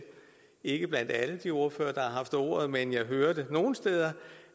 ikke blandt alle de ordførere der har haft ordet men jeg hører det nogle steder